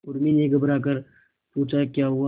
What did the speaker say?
उर्मी ने घबराकर पूछा क्या हुआ